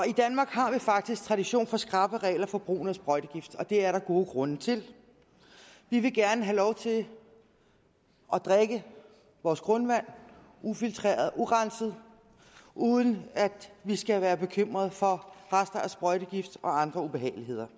i danmark har vi faktisk tradition for skrappe regler for brugen af sprøjtegifte og det er der gode grunde til vi vil gerne have lov til at drikke vores grundvand ufiltreret urenset uden at vi skal være bekymrede for rester af sprøjtegifte og andre ubehageligheder